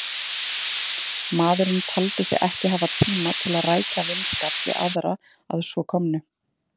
Maðurinn taldi sig ekki hafa tíma til að rækja vinskap við aðra að svo komnu.